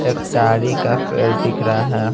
एक ताड़ी का पेड़ दिख रहा है।